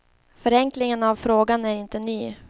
Förenklingen av frågan är inte ny.